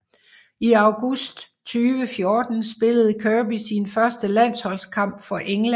I august 2014 spillede Kirby sin første landsholdskamp for England